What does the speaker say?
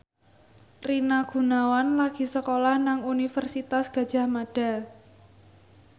Rina Gunawan lagi sekolah nang Universitas Gadjah Mada